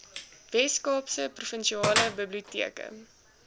weskaapse provinsiale biblioteke